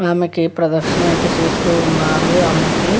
ఆమెక ప్రదక్షిణ అయితే చేస్తూ ఉన్నారు ఆమెకి --